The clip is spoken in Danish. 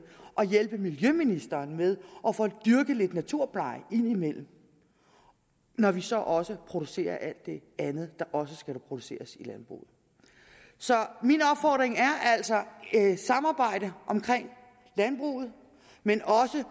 og hjælpe miljøministeren med at få dyrket lidt naturpleje indimellem når vi så også producerer alt det andet der også skal produceres i landbruget så min opfordring er altså et samarbejde omkring landbruget men også